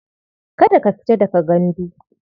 Kada ka fita daga gandu.